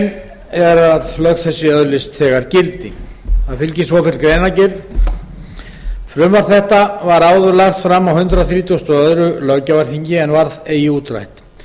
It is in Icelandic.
er að lög þessi öðlist þegar gildi það fylgir svofelld greinargerð frumvarp þetta var áður lagt fram á hundrað þrítugasta og öðrum löggjafarþingi en varð ekki útrætt